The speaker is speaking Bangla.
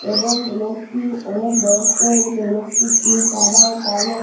এবং লোকটি অনেক বয়স্ক হয়ে গেছে লোকটির চুল সাদা ও কালো।